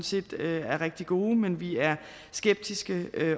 set er rigtig gode men vi er skeptiske